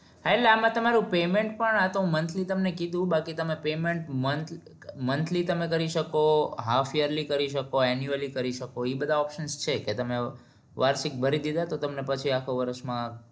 હા એટલે આમાં તમારું payment આ તો month લી તમને કીધું બાકી તમે payment month લી તમે કરી શકોહાફ યર્લી કરી શકો insurance કરી શકો ઈ બધા option છે કે તમે વાર્ષિક ભરી દીધા તો તમને પછી આખો વર્ષ માં